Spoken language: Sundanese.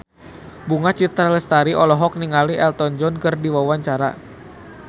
Bunga Citra Lestari olohok ningali Elton John keur diwawancara